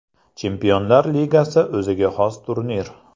Chempionlar Ligasi o‘ziga xos turnir.